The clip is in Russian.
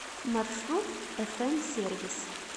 маршрут фм сервис